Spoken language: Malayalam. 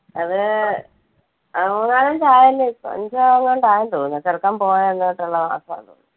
അത് അഹ് മൂന്നാലഞ്ചായല്ലോ ഇപ്പൊ അഞ്ച് എങ്ങാണ്ടും ആയെന്നു തോന്നുന്നു. ചെറുക്കൻ പോയ അന്ന് തൊട്ടുള്ള മാസ്സമാ.